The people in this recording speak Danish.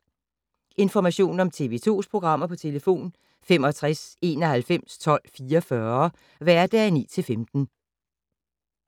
Information om TV 2's programmer: 65 91 12 44, hverdage 9-15.